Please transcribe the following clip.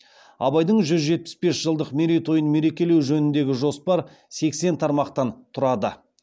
абайдың жүз жетпіс бес жылдық мерейтойын мерекелеу жөніндегі жоспар сексен тармақтан тұрады